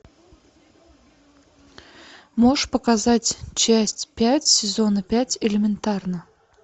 можешь показать часть пять сезона пять элементарно